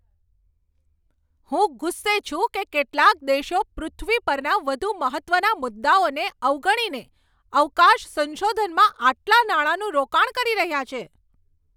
હું ગુસ્સે છું કે કેટલાક દેશો પૃથ્વી પરના વધુ મહત્ત્વના મુદ્દાઓને અવગણીને અવકાશ સંશોધનમાં આટલા નાણાંનું રોકાણ કરી રહ્યા છે.